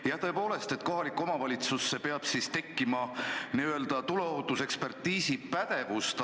Jaa, tõepoolest, kohalikku omavalitsusse peab siis tekkima tuleohutusekspertiisi pädevust.